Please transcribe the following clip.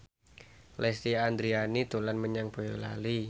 Lesti Andryani dolan menyang Boyolali